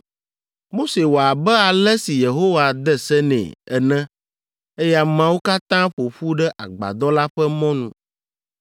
Mose wɔ abe ale si Yehowa de se nɛ be ene eye ameawo katã ƒo ƒu ɖe agbadɔ la ƒe mɔnu.